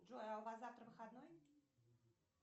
джой а у вас завтра выходной